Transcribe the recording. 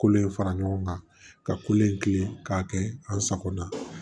Kolo in fara ɲɔgɔn kan ka kolen kilen k'a kɛ an sagona